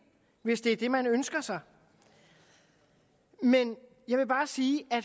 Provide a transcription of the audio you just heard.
hvis det er det man ønsker sig men jeg vil bare sige